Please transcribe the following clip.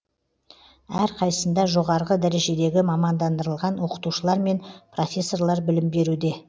әрқайсысында жоғарғы дәрежедегі мамандырылған оқытушылар мен профессорлар білім беруде